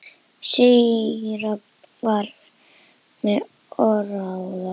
Síra Björn var með óráði.